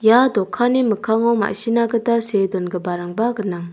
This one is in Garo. ia dokanni mikkango ma·sina gita see dongiparangba gnang.